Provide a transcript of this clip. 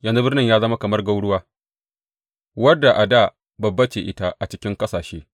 Yanzu birnin ya zama kamar gwauruwa, wadda a dā babba ce ita a cikin ƙasashe!